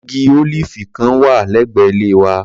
Igi ólíífì kan wà lẹ́gbẹ̀ẹ́ ilé wa.